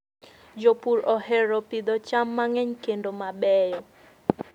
Jopur ohero pidho cham mang'eny kendo mabeyo.